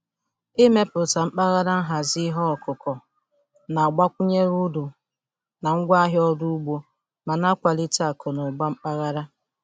Ịmepụta mpaghara nhazi ihe ọkụkụ na-agbakwunye uru na ngwaahịa ọrụ ugbo ma na-akwalite akụ na ụba mpaghara.